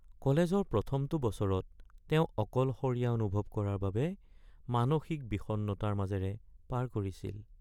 কলেজৰ প্ৰথমটো বছৰত তেওঁ অকলশৰীয়া অনুভৱ কৰাৰ বাবে মানসিক বিষণ্ণতাৰ মাজেৰে পাৰ কৰিছিল।